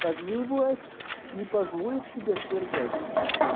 также и власть не позволит себя свергать